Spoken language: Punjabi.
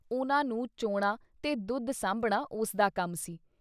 ਉਹਨਾਂ ਨੂੰ ਚੋਣਾਂ ਤੇ ਦੁੱਧ ਸਾਂਭਣਾ ਉਸਦਾ ਕੰਮ ਸੀ।